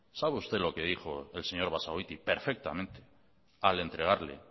sabe usted lo que dijo el señor basagoiti perfectamente al entregarle